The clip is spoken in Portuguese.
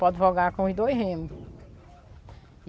Pode jogar com um e dois remo.